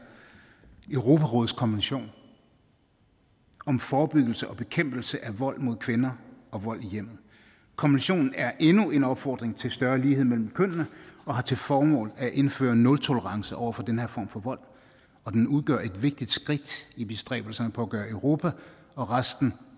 europarådets konvention om forebyggelse og bekæmpelse af vold mod kvinder og vold i hjemmet konventionen er endnu en opfordring til større lighed mellem kønnene og har til formål at indføre nultolerance over for den her form for vold og den udgør et vigtigt skridt i bestræbelserne på at gøre europa og resten